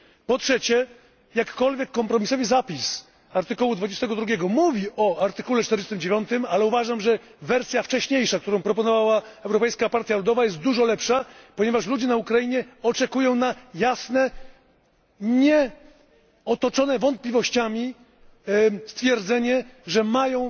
Po trzecie, jakkolwiek kompromisowy zapis artykułu 22 mówi o artykule 49, ale uważam, że wersja wcześniejsza, którą proponowała Europejska Partia Ludowa jest dużo lepsza, ponieważ ludzie na Ukrainie oczekują na jasne, nieotoczone wątpliwościami stwierdzenie, że mają